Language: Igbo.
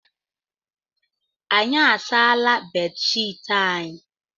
Anyị asaala bedshiiti anyị.